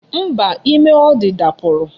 Mba, ime ọ dị dapụrụ